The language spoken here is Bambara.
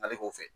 Mali k'o fɛ